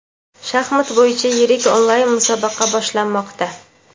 Shaxmat bo‘yicha yirik onlayn musobaqa boshlanmoqda.